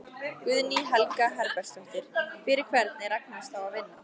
Guðný Helga Herbertsdóttir: Fyrir hvern er Agnes þá að vinna?